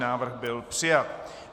Návrh byl přijat.